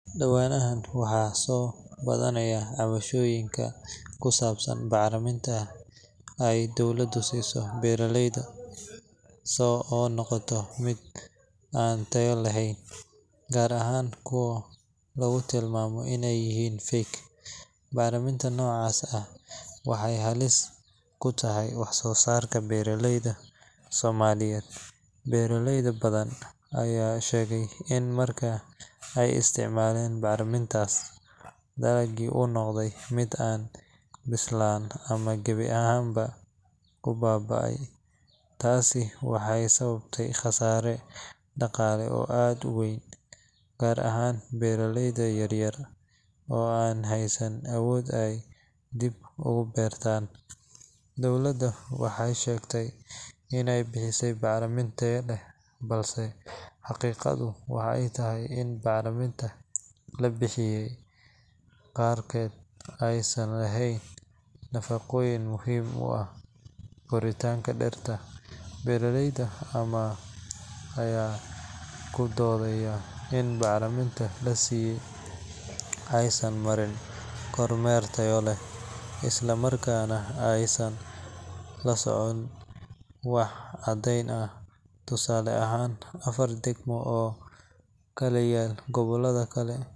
Dhawaanahan waxaa soo badanaya cabashooyinka ku saabsan bacriminta ay dowladda siiso beeraleyda oo noqotay mid aan tayo lahayn, gaar ahaan kuwa lagu tilmaamay inay yihiin fake. Bacriminta noocaas ah waxay halis weyn ku tahay wax-soo-saarka beeraleyda Soomaaliyeed. Beeraley badan ayaa sheegay in marka ay isticmaaleen bacrimintaas, dalaggii uu noqday mid aan bislaan ama gebi ahaanba uu baaba’ay. Tani waxay sababtay khasaare dhaqaale oo aad u weyn, gaar ahaan beeraleyda yar-yar oo aan haysan awood ay dib ugu beertaan. Dowladda waxay sheegtay inay bixisay bacriminta tayo leh, balse xaqiiqadu waxay tahay in bacriminta la bixiyay qaarkeed aysan lahayn nafaqooyin muhiim u ah koritaanka dhirta. Beeraley badan ayaa ku doodaya in bacriminta la siiyay aysan soo marin kormeer tayo leh, islamarkaana aysan la socon wax caddeyn ah. Tusaale ahaan, afar degmo oo ku kala yaal gobollo kala.